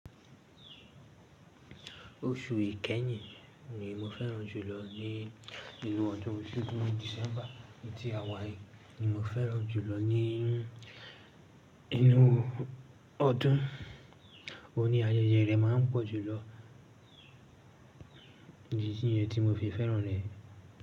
Oṣu ikẹyin ni mo fẹ́ràn jùlọ nínú ọdún. Sidín Disẹmba ti àwa yí ni mo fẹ́ràn jùlọ nínú ọdún. O ní ayẹyẹ rẹ máa ń pọ̀ jùlọ, idì niyẹn tí mo fi fẹ́ràn rẹ.